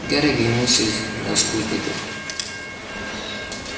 гарри оглянулся на спутников